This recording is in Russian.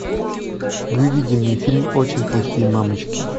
выведи мне фильм очень плохие мамочки